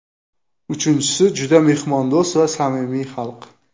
Uchinchisi juda mehmondo‘st va samimiy xalq.